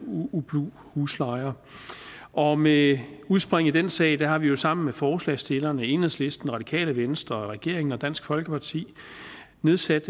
ublu huslejer og med udspring i den sag har vi jo sammen med forslagsstillerne og enhedslisten radikale venstre regeringen og dansk folkeparti nedsat